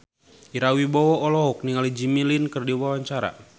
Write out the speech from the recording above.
Ira Wibowo olohok ningali Jimmy Lin keur diwawancara